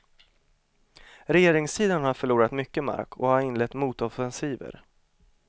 Regeringssidan har förlorat mycket mark och har inlett motoffensiver.